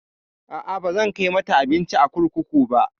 A'a, bazan kai mata abinci a kurkuku ba.